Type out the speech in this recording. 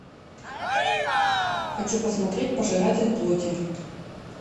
хочу посмотреть пожиратель плоти